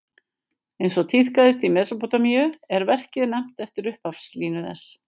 Eins og tíðkaðist í Mesópótamíu er verkið nefnt eftir upphafslínu þess.